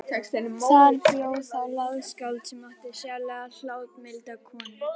Þar bjó þá ljóðskáld sem átti sérlega hláturmilda konu.